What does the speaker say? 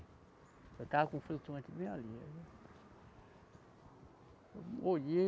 Eu estava com o flutuante bem ali. Olhei